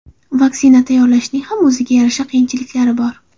Vaksina tayyorlashning ham o‘ziga yarasha qiyinchiliklari bor.